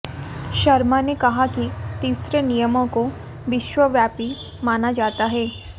शर्मा ने कहा कि तीसरे नियम कों विश्वव्यापी माना जाता है